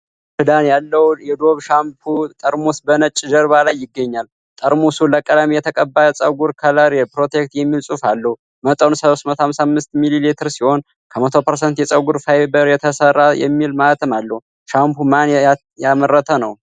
ከሮዝ ክዳን ያለው የዶቭ ሻምፑ ጠርሙስ በነጭ ጀርባ ላይ ይገኛል። ጠርሙሱ ለቀለም የተቀባ ጸጉር 'Color Protect' የሚል ጽሑፍ አለው። መጠኑ 355 ሚሊ ሊትር ሲሆን 'ከ100% የጸጉር ፋይበር የተሰራ' የሚል ማኅተም አለው። ሻምፑን ማን ያመረተ ነው?